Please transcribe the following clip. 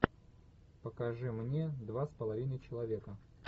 покажи мне два с половиной человека